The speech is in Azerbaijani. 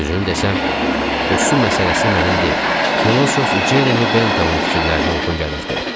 Düzünü desəm, bu su məsələsi mənim deyil, filosof Ceremi Bentamın fikirlərinə uyğun gəlirdi.